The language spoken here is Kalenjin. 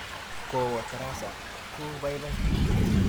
Kowo tarasa ko paipai.